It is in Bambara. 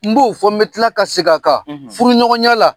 N b'o fɔ n bɛ tila ka segin a kan; Furu ɲɔgɔn ya la